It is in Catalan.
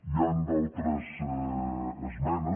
hi han d’altres esmenes